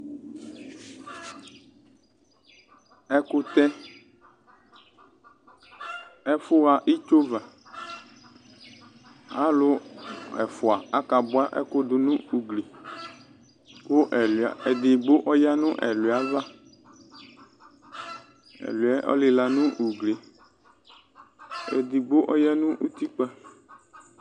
Ɛkʋtɛ, ɛfʋ ɣa itsovǝAlʋ ɛfʋa aka bʋa ɛkʋ dʋ nʋ ugli ,kʋ ɛlʋɩa ,edigbo ɔya nʋ ɛlʋɩa ava; ɛlʋɩa ɛ ɔlɩla nʋ ugli, edigbo ɔya nʋ utikpǝ